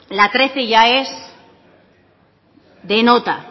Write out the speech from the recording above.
la trece ya es de nota